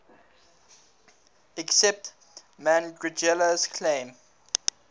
accepted marangella's claim